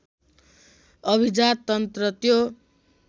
अभिजाततन्त्र त्यो